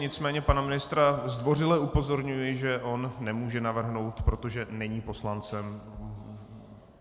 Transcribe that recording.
Nicméně pana ministra zdvořile upozorňuji, že on nemůže navrhnout, protože není poslancem.